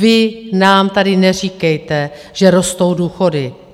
Vy nám tady neříkejte, že rostou důchody.